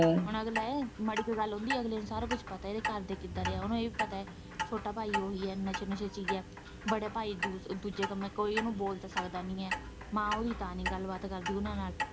ਮਾੜੀ ਕ ਗੱਲ ਹੁੰਦੀ ਅਗਲੀ ਨੂੰ ਸਾਰਾ ਕੁੱਝ ਪਤਾ ਏ ਕਿ ਇਹਦੇ ਘਰਦੇ ਕਿੱਦਾ ਦੇ ਏ? ਉਹਨੂੰ ਇਹ ਵੀ ਪਤਾ ਏ ਕਿ ਛੋਟਾ ਭਾਈ ਉਹੀ ਏ ਨਸ਼ੇ -ਨਾਸੇ ਚ ਏ, ਵੱਡਾ ਭਾਈ ਦੂਜੇ ਕੰਮੇ ਕੋਈ ਉਹਨੂੰ ਬੋਲ ਤਾਂ ਸਕਦਾ ਨਹੀਂ ਏ, ਮਾਂ ਉਹ ਦੀ ਤਾਂ ਨੀ ਗੱਲਬਾਤ ਕਰਦੀ ਉਹਨਾਂ ਨਾਲ਼।